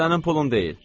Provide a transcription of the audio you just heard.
Sənin pulun deyil.